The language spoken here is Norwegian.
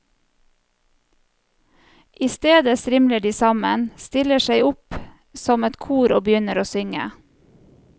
I stedet stimler de sammen, stiller seg opp som et kor og begynner å synge.